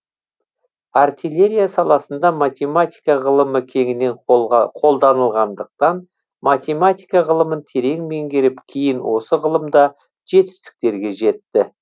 артиллерия саласында математика ғылымы кеңінен қолданылғандықтан математика ғылымын терең меңгеріп кейін осы ғылымда жетістіктерге жетті